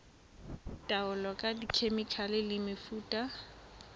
taolo ka dikhemikhale le mefuta